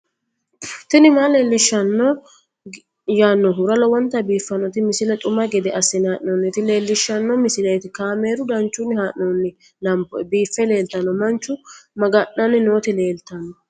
tini maa leelishshanno yaannohura lowonta biiffanota misile xuma gede assine haa'noonnita leellishshanno misileeti kaameru danchunni haa'noonni lamboe biiffe leeeltanno manchu maga'nanni nooti leeltanno